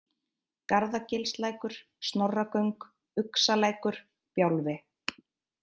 Garðagilslækur, Snorragöng, Uxalækur, Bjálfi